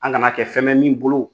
An kana kɛ fɛn bɛ min bolo